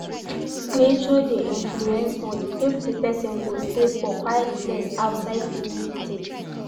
Nature de influence mood if di persin go stay for quite place outside de meditate